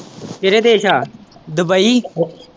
ਕਿਹੜੇ ਦੇਸ਼ ਆ ਦੁੱਬਈ।